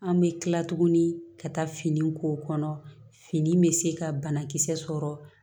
An bɛ kila tuguni ka taa fini k'o kɔnɔ fini bɛ se ka banakisɛ sɔrɔ